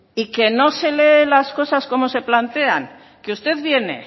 y que no se lee las cosas como se plantean que usted viene